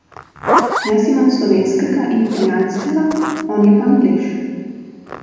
Jaz imam slovenskega in italijanskega, on je pa Anglež.